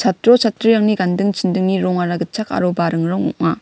chatro chatrirangni ganding chindingara gitchak aro baring rong ong·a.